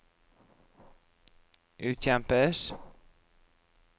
utkjempes